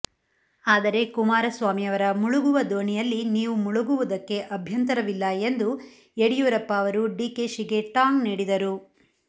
ಆದರೆ ಕುಮಾರಸ್ವಾಮಿಯವರ ಮುಳುಗುವ ದೋಣಿ ಯಲ್ಲಿ ನೀವು ಮುಳುಗುವುದಕ್ಕೆ ಅಭ್ಯಂತರವಿಲ್ಲ ಎಂದು ಯಡಿಯೂರಪ್ಪ ಅವರು ಡಿಕೆಶಿಗೆ ಟಾಂಗ್ ನೀಡಿದರು